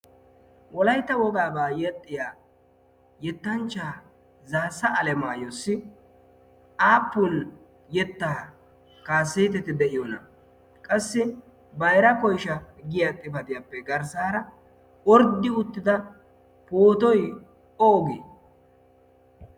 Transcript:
wolayta wogaabaa yexxiya yettanchchaa zaasa alemaayyossi apuli-yettaa kaaseeteti de'iyoona qassi baira koisha giya xifadiyaappe garssaara orddi uttida pootoy oogee